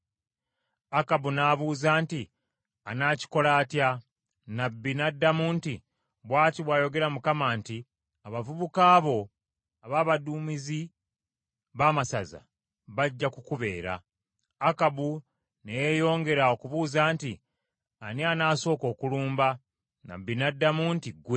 Akabu n’abuuza nti, “Anakikola atya?” Nnabbi n’addamu nti, “Bw’ati bw’ayogera Mukama nti, ‘Abavubuka bo ab’abaduumizi b’amasaza, bajja kukubeera.’ ” Akabu ne yeeyongera okubuuza nti, “Ani anasooka okulumba?” Nnabbi n’addamu nti, “Ggwe.”